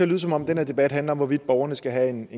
lyde som om den her debat handler om hvorvidt borgerne skal have en